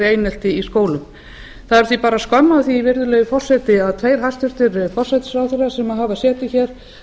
einelti í skólum það er því bara skömm að því virðulegi forseti að tveir hæstvirtur forsætisráðherrar sem hafa setið hér